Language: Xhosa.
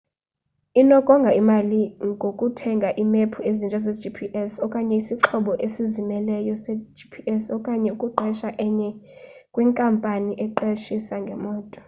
inokonga imali ngokuthenga iimephu ezintsha zegps okanye isixhobo esizimeleyo segps okanye ukuqesha enye kwinkampani eqeshisa ngemoto